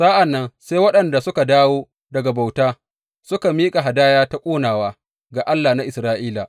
Sa’an nan sai waɗanda suka dawo daga bauta suka miƙa hadaya ta ƙonawa ga Allah na Isra’ila.